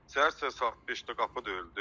Səhər-səhər saat 5-də qapı döyüldü.